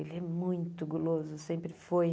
Ele é muito guloso, sempre foi.